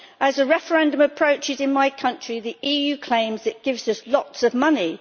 As a referendum approaches in my country, the EU claims it gives us lots of money.